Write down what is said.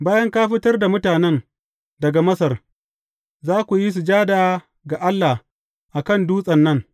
Bayan ka fitar da mutanen daga Masar, za ku yi sujada ga Allah a kan dutsen nan.